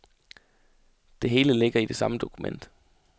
Det hele ligger i det samme dokument.